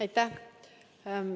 Aitäh!